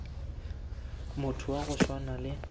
motho wa go swana le